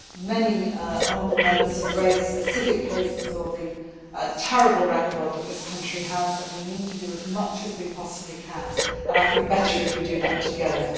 Many honourable Members have raised specific cases and the terrible record that this country has, and we need to do as much as we possibly can and I think we can do better if we do that together.